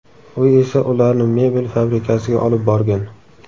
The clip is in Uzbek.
U esa ularni mebel fabrikasiga olib borgan.